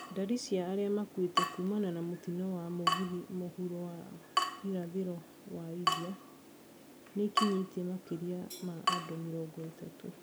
Ndari cia arĩa makuĩte kumana na mũtino wa mũgithi mũhuro wa irathĩro wa India nĩĩkinyiĩe makĩria ma andũ mĩrongo ĩtatũ